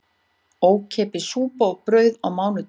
Ókeypis súpa og brauð á mánudögum